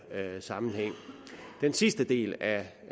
sammenhæng den sidste del af